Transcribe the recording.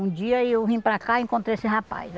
Um dia eu vim para cá e encontrei esse rapaz.